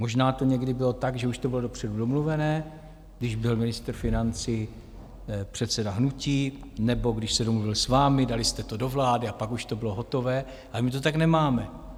Možná to někdy bylo tak, že už to bylo dopředu domluvené, když byl ministr financí předseda hnutí nebo když se domluvil s vámi, dali jste to do vlády a pak už to bylo hotové, ale my to tak nemáme.